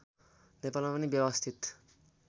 नेपालमा पनि व्यवस्थित